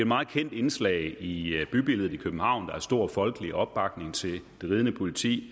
meget kendt indslag i bybilledet i københavn der er stor folkelig opbakning til det ridende politi